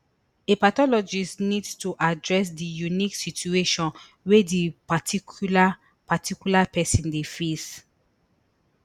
a pathologist need to address di unique situation wey di particular particular pesin dey face